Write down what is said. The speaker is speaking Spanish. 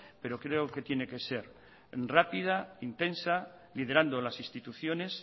pero creo que tiene que ser rápida intensa liderando las instituciones